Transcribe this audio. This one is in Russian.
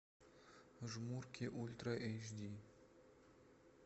жмурки ультра эйч ди